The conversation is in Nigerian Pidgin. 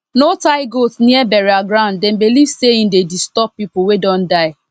no tie goat near burial grounddem dey believe say e dey disturb people wey don die